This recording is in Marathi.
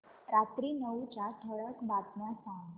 रात्री नऊच्या ठळक बातम्या सांग